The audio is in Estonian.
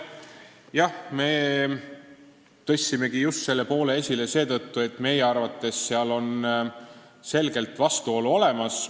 Jah, me tõstsimegi selle esile seetõttu, et meie arvates on seal selgelt vastuolu olemas.